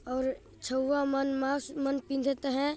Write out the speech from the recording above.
और छउआ मन मास्क मन पिन्धत आहाय |